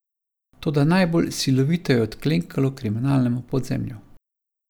Toda najbolj silovito je odklenkalo kriminalnemu podzemlju.